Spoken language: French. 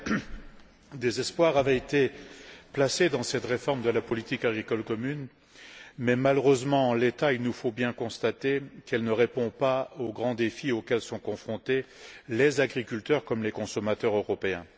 Madame la Présidente, Monsieur le Commissaire, des espoirs avaient été placés dans cette réforme de la politique agricole commune, mais malheureusement en l'état, il nous faut bien constater qu'elle ne répond pas aux grands défis auxquels sont confrontés les agriculteurs, comme les consommateurs européens.